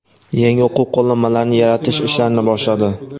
yangi o‘quv qo‘llanmalarini yaratish ishlarini boshladi.